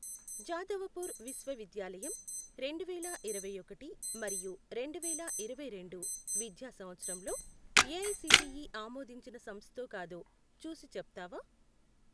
జాదవపూర్ విశ్వవిద్యాలయం రెండువేల ఇరవైఒకటి మరియు రెండువేల ఇరవైరెండు విద్యా సంవత్సరంలో ఏఐసిటిఈ ఆమోదించిన సంస్థో కాదో చూసి చెప్తావా?